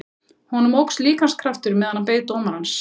Honum óx líkamskraftur meðan hann beið dómarans.